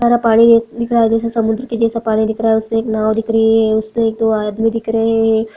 सारा पानी दिख रहा है जैसे समुद्र जैसा पानी दिख रहा है उसमें एक नाव दिख रही है उसमें एक दो आदमी दिख रहे हैं।